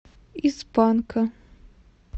из панка